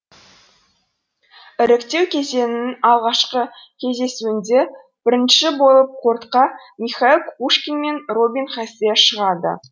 іріктеу кезеңінің алғашқы кездесуінде бірінші болып кортқа михаил кукушкин мен робин хасе шығады